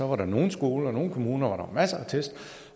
var der nogle skoler og nogle kommuner masser af test